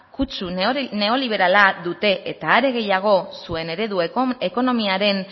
kutsu neoliberala dute eta are gehiago zuen eredu ekonomiaren